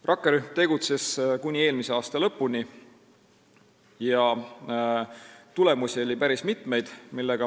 Rakkerühm tegutses kuni eelmise aasta lõpuni ja tulemusi oli päris mitmeid.